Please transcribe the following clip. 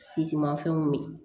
Sisimafɛnw min